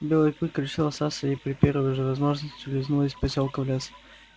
белый клык решил остаться и при первой же возможности улизнул из посёлка в лес